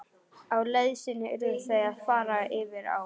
Á leið sinni urðu þau að fara yfir á.